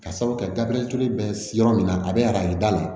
Ka sabu kɛ daɲɛ kelen bɛ yɔrɔ min na a bɛ arajo da de